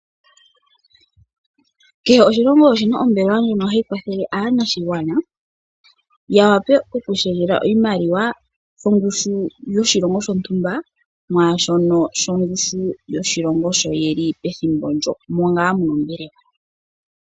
Kehe oshilongo oshi na ombelewa ndjono hayi kwathela aakwashigwana ya wape okushendjela oshimaliwa shongushu yoshilongo shontumba mwaa shono shongushu yoshilongo moka ye li pethimbo ndyoka moka ngaa ye li.